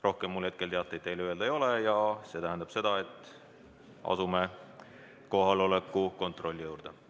Rohkem mul teateid teile öelda ei ole ja see tähendab seda, et asume kohaloleku kontrolli juurde.